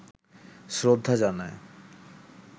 শ্রদ্ধা জানায়